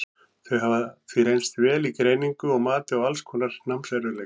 þau hafa því reynst vel í greiningu og mati á alls konar námserfiðleikum